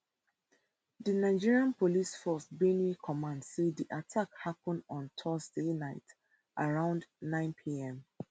di nigeria police force benue command say di attack happun on thursday night around nine pm